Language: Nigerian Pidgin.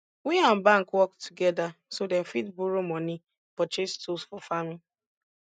we and bank work together so dem fit borrow money purchase tools for farming